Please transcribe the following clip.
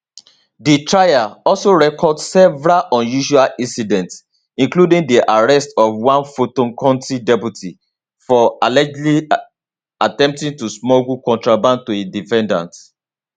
di trial also record several unusual incidents including di arrest of one fulton county deputy for allegedly attempting to smuggle contraband to a defendant